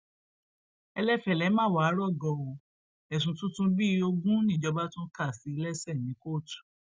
ẹlẹfẹlẹ má wáá rọgọ o ẹsùn tuntun bíi ogún níjọba tún kà sí i lẹsẹ ní kóòtù